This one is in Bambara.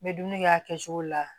N bɛ dumuni kɛ a kɛcogo la